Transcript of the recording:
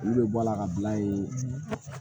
Olu bɛ bɔ ala ka bila yen